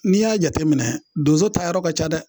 N'i y'a jateminɛ donso taayɔrɔ ka ca dɛ